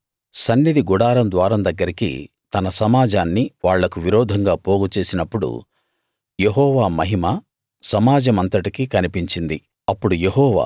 కోరహు సన్నిధి గుడారం ద్వారం దగ్గరికి తన సమాజాన్ని వాళ్లకు విరోధంగా పోగు చేసినప్పుడు యెహోవా మహిమ సమాజమంతటికీ కనిపించింది